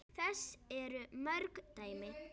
Þess eru mörg dæmi.